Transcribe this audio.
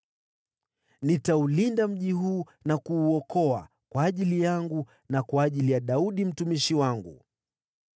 Nitaulinda mji huu na kuuokoa, kwa ajili yangu mwenyewe, na kwa ajili ya Daudi mtumishi wangu.”